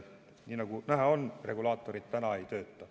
Nagu näha on, regulaatorid praegu ei tööta.